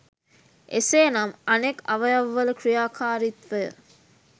එසේ නම් අනෙක් අවයවවල ක්‍රියාකාරිත්වය